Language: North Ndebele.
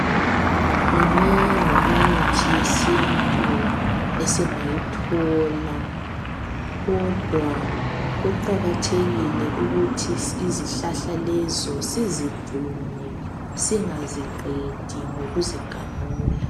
minengi imithi yesintu esingayithola kodwa kuqakathekile ukuthi izihlahla lezo sizigcine singaziqedi ngokuzigamula